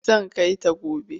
Zan kai ta gobe.